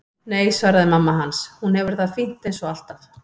Nei, svaraði mamma hans, hún hefur það fínt eins og alltaf.